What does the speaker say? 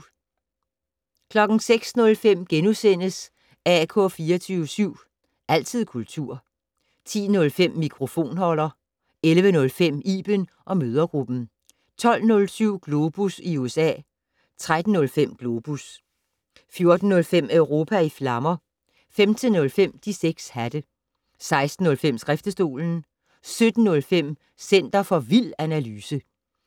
06:05: AK 24syv. Altid kultur * 10:05: Mikrofonholder 11:05: Iben & mødregruppen 12:07: Globus i USA 13:05: Globus 14:05: Europa i flammer 15:05: De 6 hatte 16:05: Skriftestolen 17:05: Center for vild analyse